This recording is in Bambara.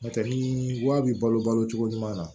N'o tɛ ni wa bi balo balo cogo ɲuman na